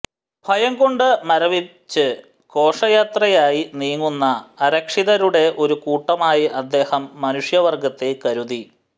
ഭയം കൊണ്ട് മരവിച്ച് ഘോഷയാത്രയായി നീങ്ങുന്ന അരക്ഷിതരുടെ ഒരു കൂട്ടമായി അദ്ദേഹം മനുഷ്യവർഗ്ഗത്തെ കരുതി